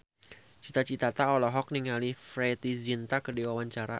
Cita Citata olohok ningali Preity Zinta keur diwawancara